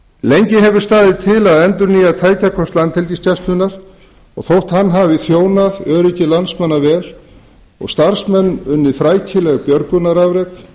lengi hefur staðið til að endurnýja tækjakost landhelgisgæslunnar þótt hann hafi þjónað öryggi landsmanna vel og starfsmenn unnið frækileg björgunarafrek